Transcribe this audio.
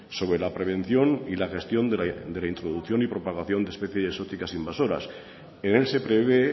sobre la prevención y la gestión de la introducción y propagación de especies exóticas invasoras en él se prevé